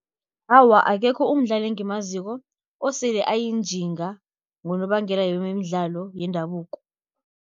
Awa, akekho umdlali engimaziko osele ayinjinga ngonobangela yemidlalo yendabuko.